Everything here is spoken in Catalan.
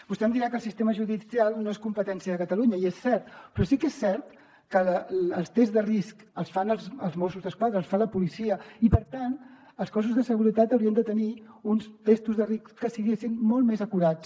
vostè em dirà que el sistema judicial no és competència de catalunya i és cert però sí que és cert que els tests de risc els fan els mossos d’esquadra els fa la policia i per tant els cossos de seguretat haurien de tenir uns testos de risc que fossin molt més acurats